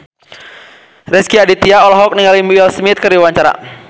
Rezky Aditya olohok ningali Will Smith keur diwawancara